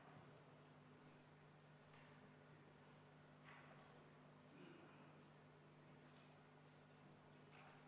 Kuulutan hääletamise Riigikogu esimehe valimisel lõppenuks.